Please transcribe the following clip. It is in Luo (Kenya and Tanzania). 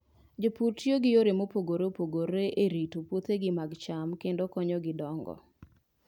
Jopur tiyo gi yore mopogore opogore e rito puothegi mag cham kendo konyogi dongo.